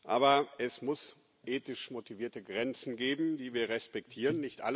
Aber es muss ethisch motivierte Grenzen geben, die wir respektieren.